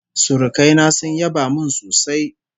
Surukai na sun yaba min sosai